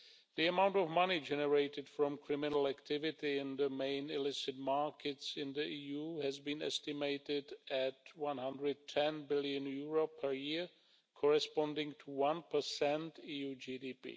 The amount of money generated from criminal activity in the main illicit markets in the EU has been estimated at EUR 110 billion per year, corresponding to 1 of EU GDP.